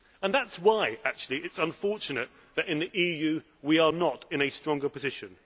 That is why it is unfortunate that in the EU we are not in a stronger position.